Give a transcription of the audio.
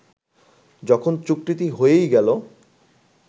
যখন চুক্তিটি হয়েই গেল